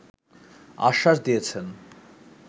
আশ্বাস দিয়েছেন